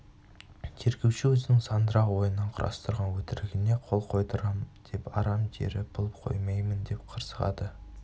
тергеуші өзінің сандырақ ойынан құрастырған өтірігіне қол қойдырам деп арам тері бұл қоймаймын деп қырсығады